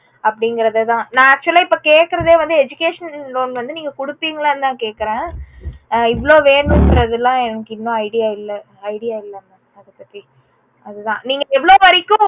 அப்புடிங்கறதுதா நா actual ஆ இப்போ கேட்கறதே educational loan வந்து நீங்க குடுப்பிங்களானு தா கேட்கறேன். ஆஹ் இவளோ வேணும்கறதுலம் எனக்கு இன்னும் idea இல்ல. idea இல்ல mam அதுதா. நீங்க எவளோ வரைக்கும்